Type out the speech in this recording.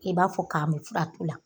I b'a fɔ ka mun furatu la.